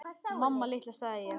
Mamma litla, sagði ég.